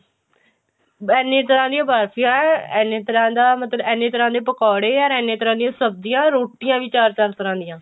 ਇੰਨੀ ਤਰ੍ਹਾਂ ਦੀਆਂ ਬਰਫੀਆਂ ਇੰਨੇ ਤਰ੍ਹਾਂ ਦਾ ਮਤਲਬ ਇੰਨੇ ਤਰ੍ਹਾਂ ਦੇ ਪਕੋੜੇ or ਇੰਨੇ ਤਰ੍ਹਾਂ ਦੀਆਂ ਸਬਜੀਆਂ ਰੋਟੀਆਂ ਵੀ ਚਾਰ ਚਾਰ ਤਰ੍ਹਾਂ ਦੀਆਂ